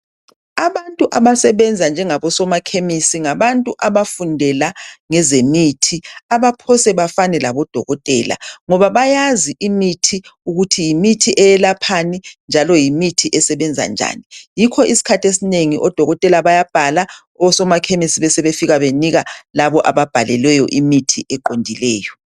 Abantu abasebenza njengabo soma khemisi ngabantu abafundela ngezemithi abaphose bafane labodokotela ngoba bayazi imithi ukuthi yimithi eyelaphani njalo yimithi esebenza njani yikho isikhathi esinengi odokotela bayabhala osomakhemisi bebesebe fika bebanika labo ababhalelweyo imithi eqondileyo.